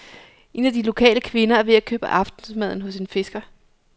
En af de lokale kvinder er ved at købe aftensmaden hos en fisker.